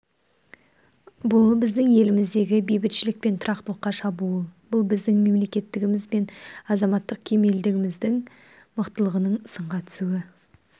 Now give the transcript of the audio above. бұл біздің еліміздегі бейбітшілік пен тұрақтылыққа шабуыл бұл біздің мемлекеттігіміз бен азаматтық кемелдігіміздің мықтылығының сынға түсуі